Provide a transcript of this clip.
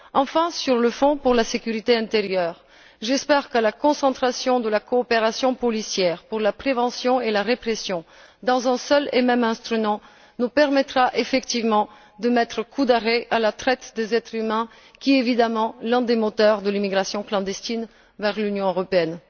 Enfin, à propos du Fonds pour la sécurité intérieure, j'espère que la concentration de la coopération policière pour la prévention et la répression dans un seul et même instrument nous permettra effectivement de mettre un coup d'arrêt à la traite des êtres humains, qui est évidemment l'un des moteurs de l'émigration clandestine vers l'Union européenne.